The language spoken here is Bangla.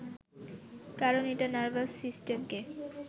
কারণ এটা নার্ভাস সিস্টেমকে